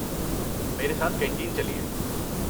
میرے ساتھ کینٹین چلئے۔